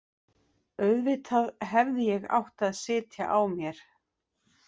Auðvitað hefði ég átt að sitja á mér.